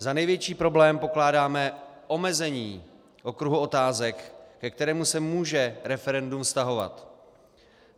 Za největší problém pokládáme omezení okruhu otázek, ke kterému se může referendum vztahovat.